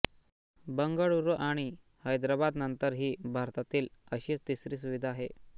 बंगळुरू आणि हैदराबाद नंतर ही भारतातील अशी तिसरी सुविधा आहे